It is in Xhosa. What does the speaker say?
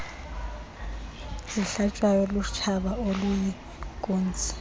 zihlatywayo lutshaba oluyinkunzi